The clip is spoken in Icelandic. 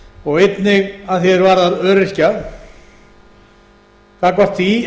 og einnig að því varðar öryrkja taka á því